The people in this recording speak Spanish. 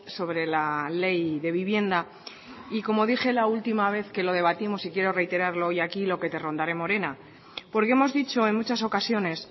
sobre la ley de vivienda y como dije la última vez que lo debatimos y quiero reiterarlo hoy aquí lo que te rondaré morena porque hemos dicho en muchas ocasiones